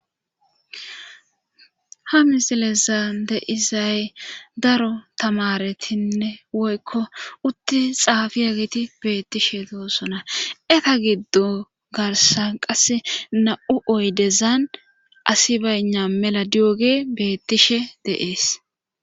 ha misilezan de'izay daro tamaretinne woykko utti xaafi agiti beettishe doosona eta giddo garsa qasse na7u oydezan asi bayna mela diyogey beettishe de'ees